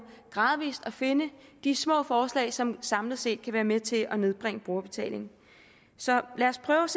gradvis at finde de små forslag som samlet set kan være med til at nedbringe brugerbetalingen så lad os prøve